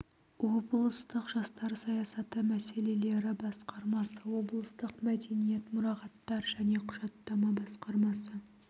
облыстық жастар саясаты мәселелері басқармасы облыстық мәдениет мұрағаттар және құжаттама басқармасы